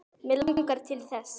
Mig langar til þess.